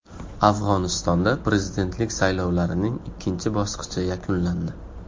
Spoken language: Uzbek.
Afg‘onistonda prezidentlik saylovlarining ikkinchi bosqichi yakunlandi.